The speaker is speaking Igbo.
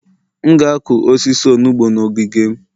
M ga-akụ osisi akwụkwọ onugbu n'ogige m